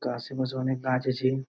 কাশেপাশে অনেক গাছ আছে |